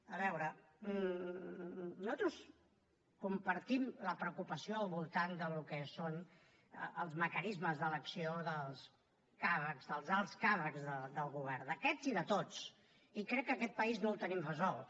a veure nosaltres compartim la preocupació al voltant del que són els mecanismes d’elecció dels càrrecs dels alts càrrecs del govern d’aquests i de tots i crec que aquest país no ho tenim resolt